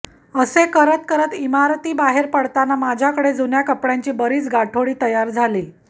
असे करत करत इमारतीबाहेर पडताना माझ्याकडे जुन्या कपड्यांची बरीच गाठोडी तयार झाली